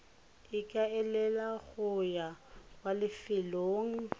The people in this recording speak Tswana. ikaelela go ya kwa lefelong